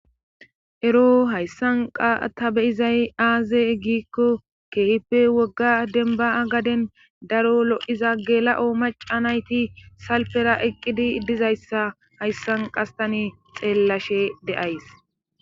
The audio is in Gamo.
ero hayssan qa ta beyizay aaze gikko keehippe wogga denba'a gaden daro lo'iza gela'o maca nayti salpera eqqidi idizayssa hayssan qastani xeellashe de'ays